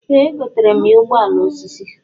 Ee egotara m ya ụgbọala osisi.